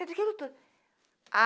Aquilo tudo